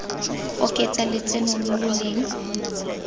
oketsa lotseno lo lo leng